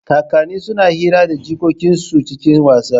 Kakanni suna hira da jikokin su cikin wasa.